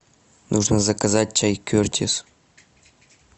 нужно заказать чай кертис